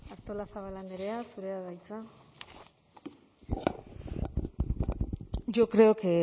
artolazabal andrea zurea da hitza yo creo que